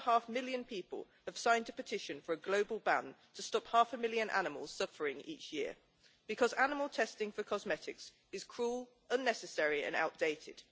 6.5 million people have signed a petition for a global ban to stop half a million animals suffering each year, because animal testing for cosmetics is cruel, unnecessary and outdated.